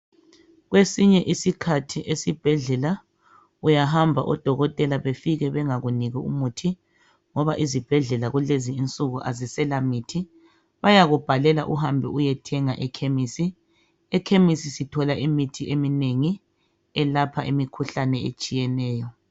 Kwesinye isikhathi esibhedlela uyahamba odokotela befike bengakuniki umuthi ngoba ezibhedlela kulezinsuku okusela mithi bayakubhalela incwadi uyathenga ekhemisi, ekhemisi sithola umuthi eminengi elapha imikhuhlane etshiyeneyo.